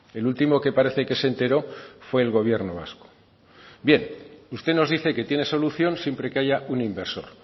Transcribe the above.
el último que parece que se entero fue el gobierno vasco bien usted nos dice que tiene solución siempre que haya un inversor